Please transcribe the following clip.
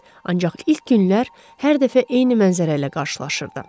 Ancaq ilk günlər hər dəfə eyni mənzərə ilə qarşılaşırdı.